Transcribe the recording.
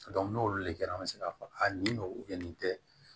n'olu le kɛra an bɛ se k'a fɔ a nin don nin tɛ